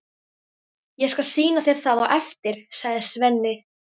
Ég skal sýna þér það á eftir, sagði Svenni.